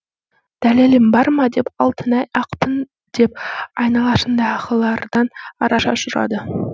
дәлелім бар ма деп алтынай ақпын деп айналасындағылардан араша ұшырады